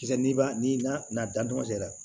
Kisɛ ni ba ni na dantɔgɔn cɛra